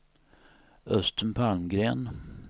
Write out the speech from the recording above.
Östen Palmgren